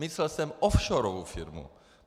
Myslel jsem offshorovou firmu.